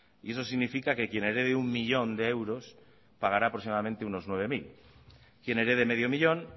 y eso significa que quien herede uno millón de euros pagará aproximadamente unos nueve mil quien herede medio millón